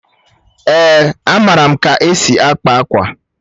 Èé, amaara m ka esi akpa akwa.